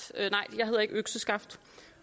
økseskaft